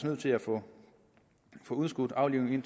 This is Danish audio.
nødt til at få udskudt aflivningen